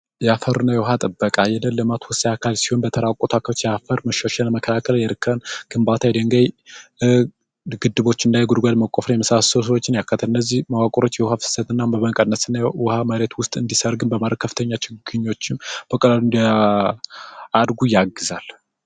የአፈርና የውሃ ጥበቃ የአፈር መሸርሸር መከላከል የእርከን ግንባታ የድንጋይ ግድቦችና የአፈር ጉድጓዶች መቆፈር ያካተታል እነዚህ መዋቅሮችና የውሃ ፍሰት ውሃ መሬት ውስጥ እንዲሰርግ በማድረግ ከፍተኛ ችግር በመቅረፍ እፅዋቶች እንዲያድጉ ያግዛል።